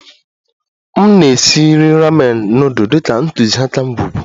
M na-esi nri ramen nudul dị ka ntụziaka ngwugwu